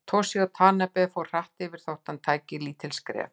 Toshizo Tanabe fór hratt yfir þó hann tæki lítil skref.